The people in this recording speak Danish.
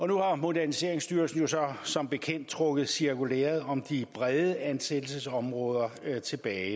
nu har moderniseringsstyrelsen jo så som bekendt trukket cirkulæret om de brede ansættelsesområder tilbage i